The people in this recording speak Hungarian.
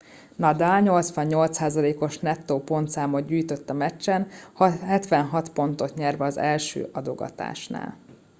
nadal 88%-os nettó pontszámot gyűjtött a meccsen 76 pontot nyerve az első adogatásnál